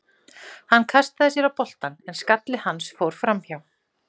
Hann kastaði sér á boltann en skalli hans fór framhjá.